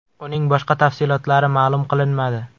Uning boshqa tafsilotlari ma’lum qilinmadi.